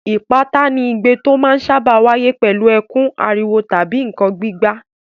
Ìpátá ni igbe tó máa ń sáábà wáyé pẹ̀lú ẹkún, ariwo tàbí nǹkan gbígbá.